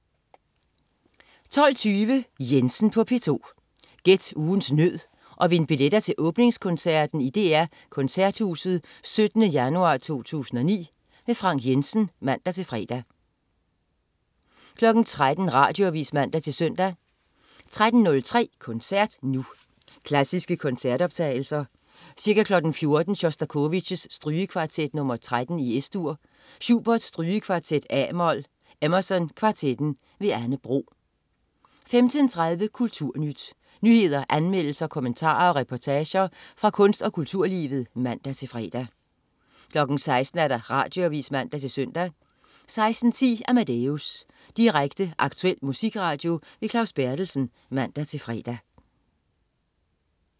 12.20 Jensen på P2. Gæt ugens nød og vind billetter til åbningskoncerten i DR Koncerthuset 17. januar 2009. Frank Jensen (man-fre) 13.00 Radioavis (man-søn) 13.03 Koncert Nu. Klassiske koncertoptagelser. Ca. 14.00 Sjostakovitj: Strygekvartet nr. 13, Es-dur. Schubert: Strygekvartet, a-mol. Emerson Kvartetten. Anne Bro 15.30 Kulturnyt. Nyheder, anmeldelser, kommentarer og reportager fra kunst- og kulturlivet (man-fre) 16.00 Radioavis (man-søn) 16.10 Amadeus. Direkte, aktuel musikradio. Claus Berthelsen (man-fre)